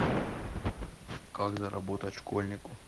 как заработать школьнику